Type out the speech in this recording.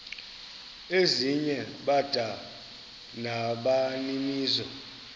ezinye bada nabaninizo